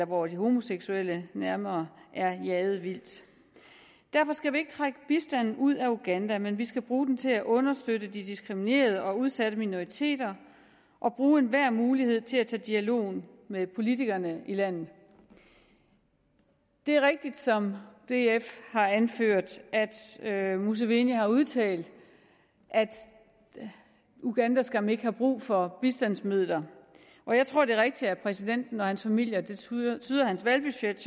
hvor de homoseksuelle nærmere er jaget vildt derfor skal vi ikke trække bistanden ud af uganda men vi skal bruge den til at understøtte de diskriminerede og udsatte minoriteter og bruge enhver mulighed til at tage dialogen med politikerne i landet det er rigtigt som df har anført at musaveni har udtalt at uganda skam ikke har brug for bistandsmidler jeg tror det er rigtigt at præsidenten og hans familie det tyder tyder hans valgbudget